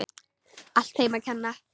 Allt þeim að kenna.!